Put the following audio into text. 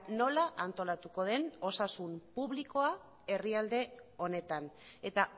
nola antolatuko den osasun publikoa herrialde honetan eta